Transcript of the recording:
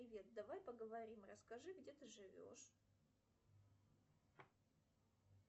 привет давай поговорим расскажи где ты живешь